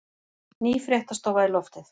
Ný fréttastofa í loftið